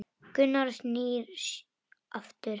Gunnar snýr aftur.